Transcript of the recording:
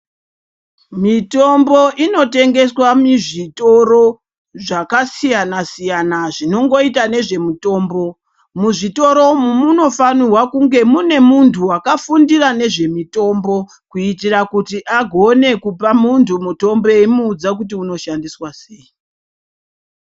Mitombo inotengeswa muzvitoro zvakasiyana siyana zvinongoita nezvemutombo muzvitoro umu munofanirwa kunge mune munhu wakafundira nezvemutombo kuitira kuti agone kupa munhu mutombo eyimuudza kuti unoshandiswa seyi.